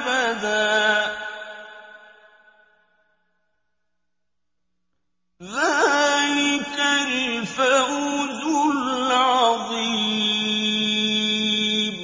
أَبَدًا ۚ ذَٰلِكَ الْفَوْزُ الْعَظِيمُ